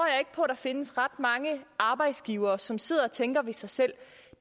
jeg på der findes ret mange arbejdsgivere som sidder og tænker ved sig selv